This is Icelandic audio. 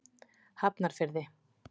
Hafnarfirði